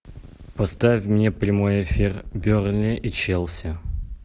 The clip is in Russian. поставь мне прямой эфир бернли и челси